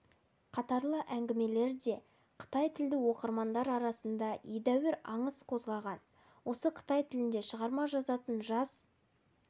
қатарлы әңгімелері де қытайтілді оқырмандар арасында едәуір аңыс қозғаған осы қытай тілінде шығарма жазатын жас